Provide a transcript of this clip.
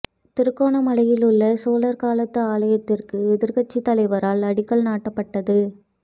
திருகோணமலையில் உள்ள சோழர் காலத்து ஆலயத்திற்கு எதிர்கட்சித் தலைவரால் அடிக்கல் நாட்டிப்பட்டது